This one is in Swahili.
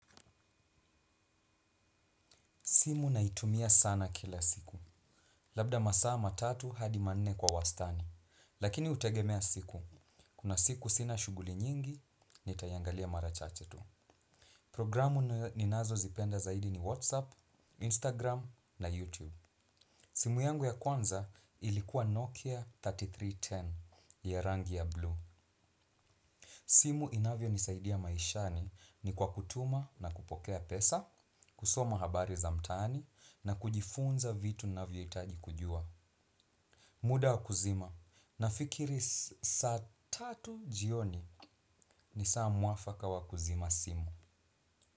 Simu naitumia sana kila siku. Labda masaa ma atu hadi manne kwa wastani. Lakini hutegemea siku. Kuna siku sina shuguli nyingi, nitayangalia marachache tu. Programu ninazo zipenda zaidi ni WhatsApp, Instagram na YouTube. Simu yangu ya kwanza ilikuwa Nokia elfu tatu na mia tatu na kumi ya rangi ya bluu. Simu inavyo nisaidia maishani ni kwa kutuma na kupokea pesa, kusoma habari za mtani na kujifunza vitu navyo hitaji kujua. Muda wakuzima nafikiri saa tatu jioni ni saa mwafaka wa kuzima simu.